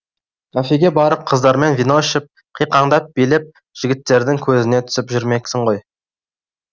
кафеге барып қыздармен вино ішіп қиқаңдап билеп жігіттердің көзіне түсіп жүрмексің ғой